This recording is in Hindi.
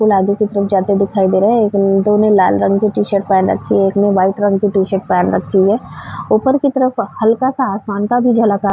लादी के तरफ जाते दिखाई दे रहे हैं। दो ने लाल रंग की टी-शर्ट पहन रक्खी है। एक ने लाइट रंग की टी शर्ट पहन रक्खी है। ऊपर की तरफ हल्का सा आसमान का भी झलक आ --